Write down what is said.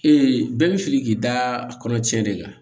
bɛɛ bɛ fili k'i da a kɔnɔ cɛ de kan